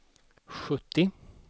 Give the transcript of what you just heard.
sjuttio